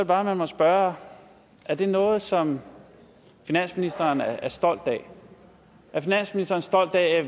bare man må spørge er det noget som finansministeren er stolt af er finansministeren stolt af